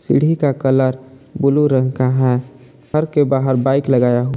सीढ़ी का colour blue रंग का है घर के बाहर बाइक लगाया हुआ।